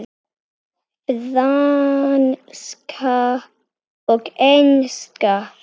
Franska og enska.